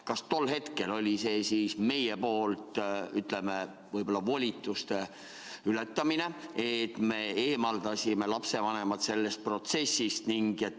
Kas me tol hetkel ületasime oma volitusi, et eemaldasime lapsevanemad sellest protsessist?